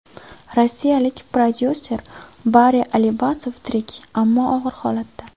Rossiyalik prodyuser Bari Alibasov tirik, ammo og‘ir holatda.